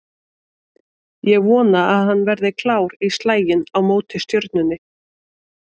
Ég vona að hann verði klár í slaginn á móti Stjörnunni